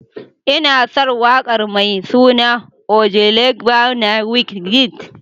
Ina son waƙar mai suna: Ojuelegba na Wizkid.